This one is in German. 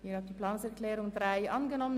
Sie haben die Planungserklärung 3 angenommen.